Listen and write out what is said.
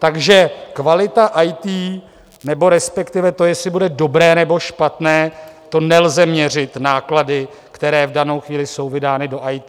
Takže kvalita IT nebo respektive to, jestli bude dobré, nebo špatné, to nelze měřit náklady, které v danou chvíli jsou vydány do IT.